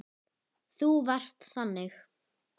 Þú varst þannig.